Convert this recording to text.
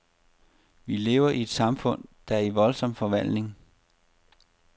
Vi lever i et samfund, der er i voldsom forvandling.